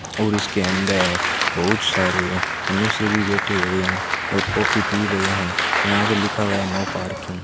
और इसके अंदर बहुत सारे मनुष्य भी बैठे हुए हैं और कॉफी पी रहे हैं यहां पे लिखा हुआ है नो पार्किंग ।